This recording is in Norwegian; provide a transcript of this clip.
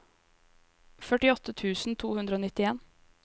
førtiåtte tusen to hundre og nittien